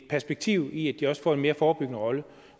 perspektiv i at de også får en mere forebyggende rolle